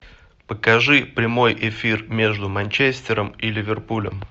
покажи прямой эфир между манчестером и ливерпулем